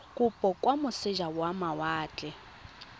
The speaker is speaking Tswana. kopo kwa moseja wa mawatle